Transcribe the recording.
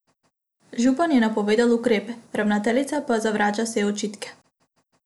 Župan je napovedal ukrepe, ravnateljica pa zavrača vse očitke.